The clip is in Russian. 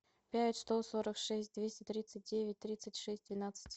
пять сто сорок шесть двести тридцать девять тридцать шесть двенадцать